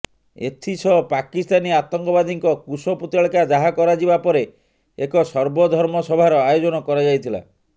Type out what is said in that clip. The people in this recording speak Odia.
ଏଥିସହ ପାକିସ୍ତାନୀ ଆତଙ୍କବାଦୀଙ୍କ କୁଶ ପୁତଳିକା ଦାହ କରାଯିବା ପରେ ଏକ ସର୍ବଧର୍ମ ସଭାର ଆୟୋଜନ କରାଯାଇଥିଲା